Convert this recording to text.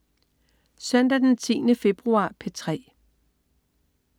Søndag den 10. februar - P3: